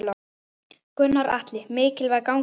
Gunnar Atli: Mikilvæg gangan?